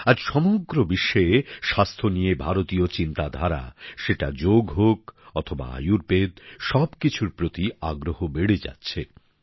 আজ সমগ্র বিশ্বে স্বাস্থ্য নিয়ে ভারতীয় চিন্তাধারা সেটা যোগ হোক অথবা আয়ুর্বেদ সব কিছুর প্রতি আগ্রহ বেড়ে যাচ্ছে